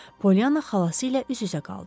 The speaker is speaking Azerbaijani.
Polyana xalası ilə üz-üzə qaldı.